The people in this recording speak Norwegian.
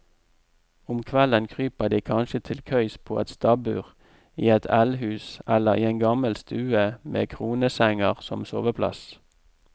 Om kvelden kryper de kanskje til køys på et stabbur, i et eldhus eller i en gammel stue med kronesenger som soveplass.